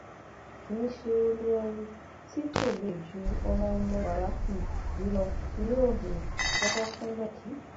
kì í ṣe olú warri tí kò le ju ju ọmọọmọ bàbá um yìí lọ ni yóò um kọkọ kúnlẹ kí